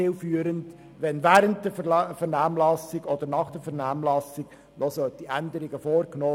Während oder nach der Vernehmlassung noch Änderungen vorzunehmen, scheint mir nicht besonders sinnvoll.